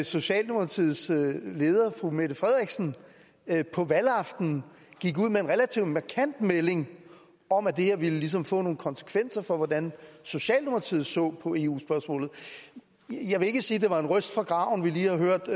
socialdemokratiets leder fru mette frederiksen på valgaftenen gik ud med en relativt markant melding om at det her ligesom ville få nogle konsekvenser for hvordan socialdemokratiet så på eu spørgsmålet jeg vil ikke sige at det var en røst fra graven vi lige har hørt